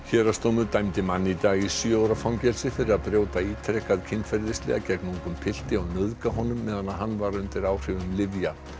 héraðsdómur dæmdi mann í dag í sjö ára fangelsi fyrir að brjóta ítrekað kynferðislega gegn ungum pilti og nauðga honum meðan hann var undir áhrifum lyfja